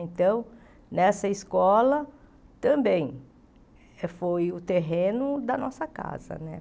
Então, nessa escola, também, foi o terreno da nossa casa, né?